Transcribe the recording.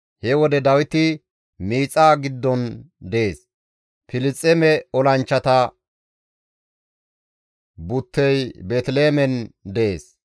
He wode Dawiti miixaa giddon dees; Filisxeeme olanchchata buttey Beeteliheemen dees.